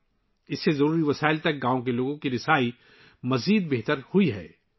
اس سے گاؤں کے لوگوں کی ضروری وسائل تک رسائی میں مزید بہتری آئی ہے